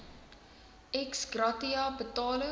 ex gratia betalings